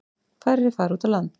Færri fara út á land.